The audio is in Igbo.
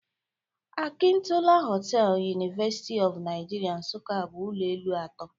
Akintola hostel, University of Nigeria Nsukka bụ ụlọ elu atọ